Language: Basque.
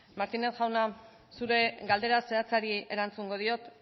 martínez jauna zure galdera zehatzari erantzungo diot